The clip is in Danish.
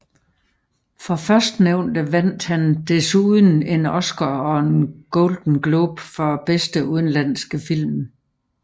For førstnævnte vandt han desuden en Oscar og en Golden Globe for bedste udenlandske film